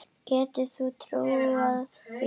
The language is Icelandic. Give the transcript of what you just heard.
Getur þú trúað því?